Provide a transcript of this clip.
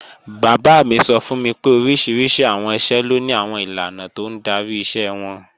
Bàbá mi sọ fún mi pé oríṣiríṣi àwọn iṣẹ́ ló ni àwọn ìlànà tó ń darí iṣẹ́ wọn